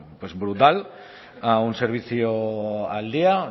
brutal a un servicio al día